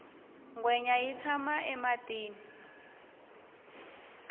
ngwenya yi tshama ematini